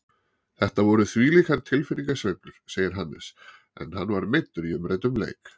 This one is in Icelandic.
Þetta voru þvílíkar tilfinningasveiflur, segir Hannes en hann var meiddur í umræddum leik.